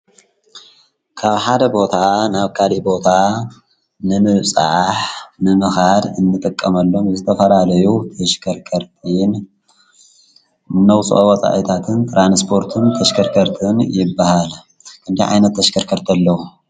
ካብ ሓደ ቦታ ናብ ካዲ ቦታ ንምውጻሕ ንምኻድ እንተቀመሎም ዝተፈራለዩ ተሽከርከርቲን ነውፁፃ እታትን ጥራንስጶርትን ተሸከርከርትን ይበሃለ። ክንድ ኣይነት ተሽከርከርት ኣለዉ?